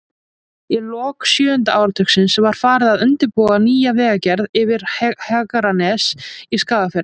Í lok sjöunda áratugarins var farið að undirbúa nýja vegagerð yfir Hegranes í Skagafirði.